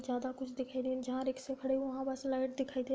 ज्यादा कुछ दिखे नहीं जहां रिक्शे खड़े हैं वहाँ बस लाइट दिखाई दे --